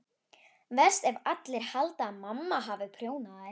Verst ef allir halda að mamma hafi prjónað þær.